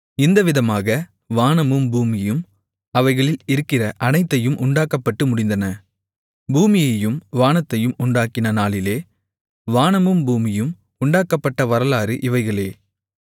இந்தவிதமாக வானமும் பூமியும் அவைகளில் இருக்கிற அனைத்தயும் உண்டாக்கப்பட்டு முடிந்தன பூமியையும் வானத்தையும் உண்டாக்கின நாளிலே வானமும் பூமியும் உண்டாக்கப்பட்ட வரலாறு இவைகளே